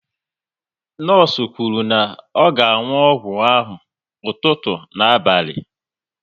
Nọọsụ kwuru na ọ ga anwụ ọgwụ ahụ ụtụtụ na abalị